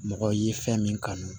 Mɔgɔ ye fɛn min kanu